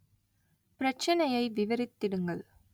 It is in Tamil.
பிரச்சனையை விவரித்திடுங்கள்